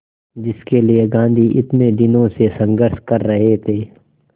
जिसके लिए गांधी इतने दिनों से संघर्ष कर रहे थे